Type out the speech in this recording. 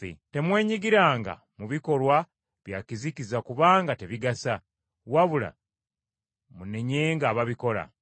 Temwenyigiranga mu bikolwa bya kizikiza kubanga tebigasa, wabula munenyenga ababikola.